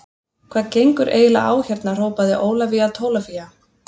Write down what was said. Hvað gengur eiginlega á hérna hrópaði Ólafía Tólafía.